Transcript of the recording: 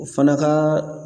O fana ka